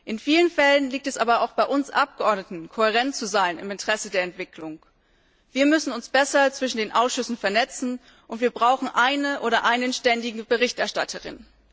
In vielen Fällen liegt es aber auch bei uns Abgeordneten, im Interesse der Entwicklung kohärent zu sein. Wir müssen uns besser zwischen den Ausschüssen vernetzen und wir brauchen eine oder einen ständige Berichterstatter in.